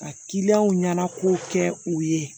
Ka ɲɛna kow kɛ u ye